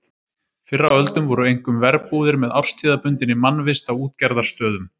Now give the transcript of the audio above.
Fyrr á öldum voru einkum verbúðir með árstíðabundinni mannvist á útgerðarstöðum.